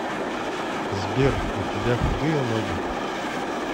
сбер у тебя худые ноги